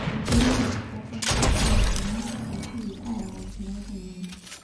Enjurore:ndapashi o yekenyi kisafii alang noltunganak.